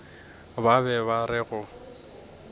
ba be ba re go